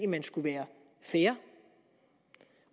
man skulle være fair